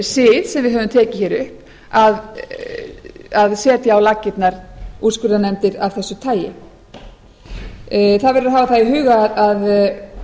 sið sem við höfum tekið hér upp að setja á laggirnar úrskurðarnefnd af þessu tagi það verður að hafa það í huga að